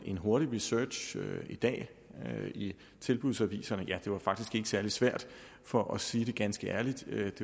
en hurtig research i dag i tilbudsaviserne viste ja det var faktisk ikke særlig svært for at sige det ganske ærligt at